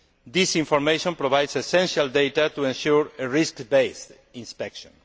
This information provides essential data to ensure a risk based inspection.